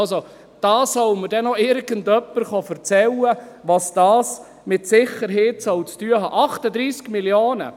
Also, da soll mir noch irgendjemand erzählen, was das mit Sicherheit zu tun haben soll.